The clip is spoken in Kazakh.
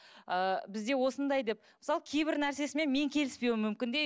ы бізде осындай деп мысалы кейбір нәрсесімен мен келіспеуім мүмкін де